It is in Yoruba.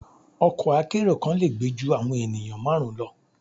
Ọkọ akẹ́ro kan le gbe ju awọn enìyan marun lọ